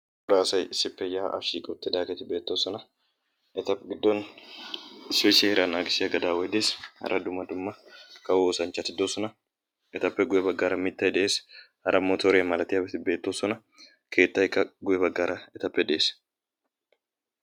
Cora asati issippe yaa'aa shiiqi uttidaageti beettoosona. eta gidoppe issoy seeraa naagissiyaa gaadaway dees. hara dumma dumma kawo oosanchchati doosona. etappe guye baggaara mittay dees. hara motoriyaa malatiyaabati beettoosona. keettayikka etappe gye baggaara dees.